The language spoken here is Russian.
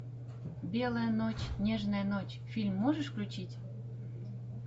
белая ночь нежная ночь фильм можешь включить